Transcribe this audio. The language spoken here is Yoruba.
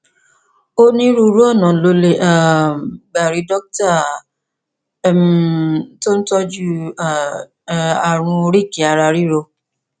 onírúurú ọnà lo lè um gbà rí dókítà um tó ń tọjú um ààrùn oríkèéararíro